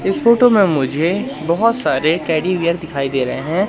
इस फोटो में मुझे बहोत सारे टेडी बेयर दिखाई दे रहे हैं।